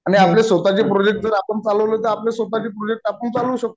आणि आपले स्वतःचे प्रोजेक्ट तर आपण चालवले तर आपल्या स्वतःचे प्रोजेक्ट आपण चालवु शकतो.